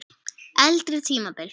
Eldri tímabil